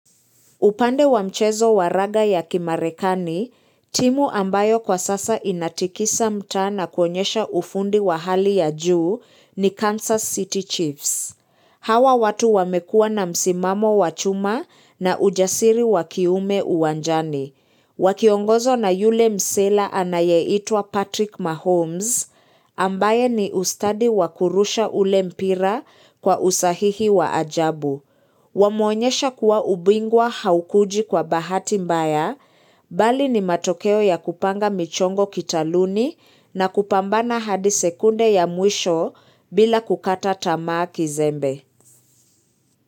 Upande wa mchezo wa raga ya kimarekani, timu ambayo kwa sasa inatikisa mtaa na kuonyesha ufundi wa hali ya juu ni Kansas City Chiefs. Hawa watu wamekuwa na msimamo wa chuma na ujasiri wakiume uwanjani. Wakiongozwa na yule msela anayeitwa Patrick Mahomes, ambaye ni ustadi wakurusha ule mpira kwa usahihi wa ajabu. Wamuonyesha kuwa ubingwa haukuji kwa bahati mbaya bali ni matokeo ya kupanga michongo kitaluni na kupambana hadi sekunde ya mwisho bila kukata tamaa kizembe.